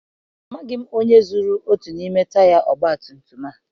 Amaghị onye zuru otu n'ime taya ọgbatumtum a.